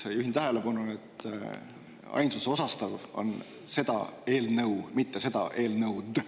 Juhin tähelepanu, et ainsuse osastav on "seda eelnõu", mitte "seda eelnõud".